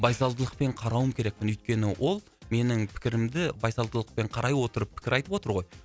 байсалдылықпен қарауым керекпін өйткені ол менің пікірімді байсалдылықпен қарай отырып пікір айтып отыр ғой